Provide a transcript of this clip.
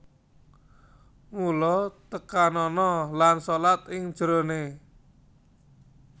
Mula tekanana lan shalat ing jeroné